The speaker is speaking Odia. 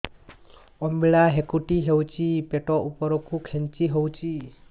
ଅମ୍ବିଳା ହେକୁଟୀ ହେଉଛି ପେଟ ଉପରକୁ ଖେଞ୍ଚି ହଉଚି